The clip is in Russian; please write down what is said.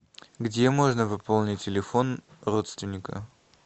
где можно пополнить телефон родственника